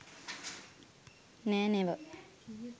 නෑ නෙව.